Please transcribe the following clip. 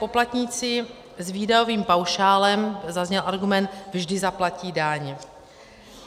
Poplatníci s výdajovým paušálem, zazněl argument, vždy zaplatí daň.